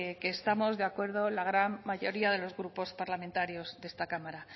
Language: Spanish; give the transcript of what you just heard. que estamos de acuerdo la gran mayoría los grupos parlamentarios de esta cámara